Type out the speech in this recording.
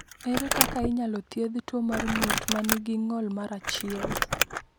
Ere kaka inyalo thiedh tuo mar ng’ut ma nigi ng’ol mar 1?